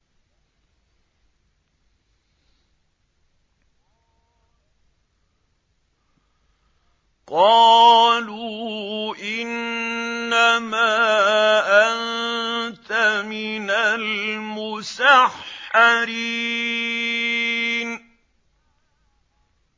قَالُوا إِنَّمَا أَنتَ مِنَ الْمُسَحَّرِينَ